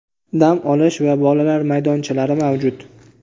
dam olish va bolalar maydonchalari mavjud.